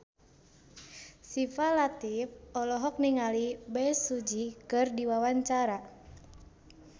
Syifa Latief olohok ningali Bae Su Ji keur diwawancara